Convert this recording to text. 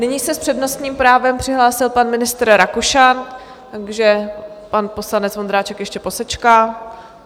Nyní se s přednostním právem přihlásil pan ministr Rakušan, takže pan poslanec Vondráček ještě posečká.